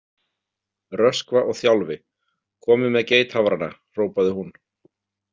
Röskva og Þjálfi, komið með geithafrana, hrópaði hún.